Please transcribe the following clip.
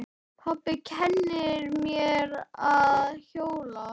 Pabbi kennir mér að hjóla.